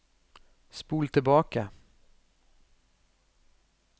spol tilbake